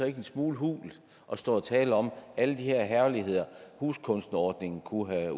ikke en smule hult at stå og tale om alle de her herligheder huskunstnerordningen kunne have